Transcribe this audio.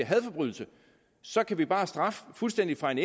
hadforbrydelse så kan vi bare straffe fuldstændig fra en